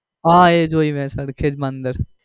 હા એ જોઈ મેં સરખેજ માં અંદર